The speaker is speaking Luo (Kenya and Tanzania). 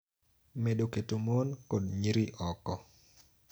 Medo keto mon kod nyiri oko